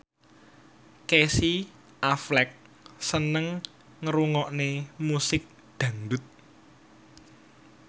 Casey Affleck seneng ngrungokne musik dangdut